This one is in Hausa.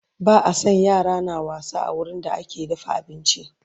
Ba a San yara na wasa a wurin da ake dafa abinci